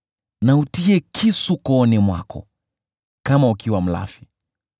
na utie kisu kooni mwako kama ukiwa mlafi.